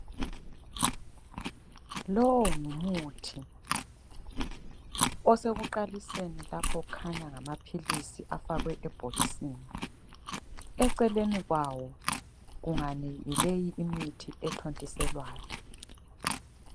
Lowo ngumuthi osekuqaliseni lapho okhanya ngamaphilisi afakwe ebhokisini. Eceleni kwawo ungani yileyi imithi ethontiselwayo.